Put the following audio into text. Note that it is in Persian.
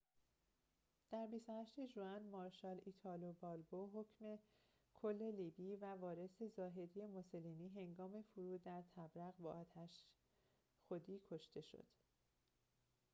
در ۲۸ ژوئن مارشال ایتالو بالبو حاکم کل لیبی و وارث ظاهری موسولینی هنگام فرود در طبرق با آتش خودی کشته شد